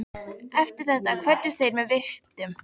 Eftir þetta kvöddust þeir með virktum.